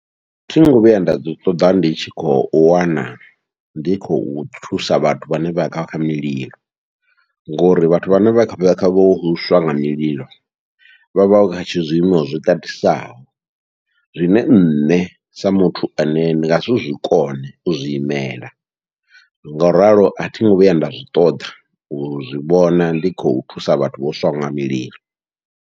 Thingo vhuya nda ḓi ṱoḓa ndi tshi khou wana ndi khou thusa vhathu vhane vha kha kha mililo, ngori vhathu vhane vha kha kha vho swa nga mulilo vha vha tshi zwiimo zwitatisaho, zwine nṋe sa muthu ane ndi ngasi zwikone u zwiimela ngauralo athingo vhuya nda zwi ṱoḓa u zwivhona ndi khou thusa vhathu vho swaho nga mililo.